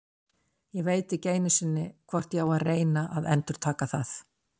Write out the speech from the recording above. Ég veit ekki einu sinni hvort ég á að reyna að endurtaka það.